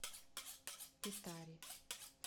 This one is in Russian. петаре